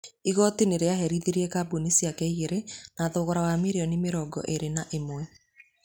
Igooti nĩ rĩaherithirie kambuni ciake igĩrĩ na thogora wa mirioni mĩrongo ĩĩrĩ o ĩmwe.